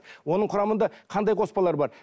оның құрамында қандай қоспалар бар